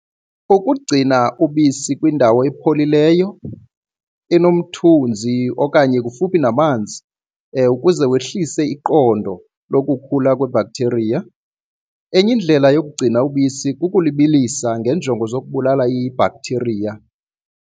Kukugcina ubisi kwindawo epholileyo enomthunzi okanye kufuphi namanzi ukuze wehlise iqondo lokukhula kwebhakthiriya. Enye indlela yokugcina ubisi kukulibilisa ngeenjongo zokubulala ibhakthiriya.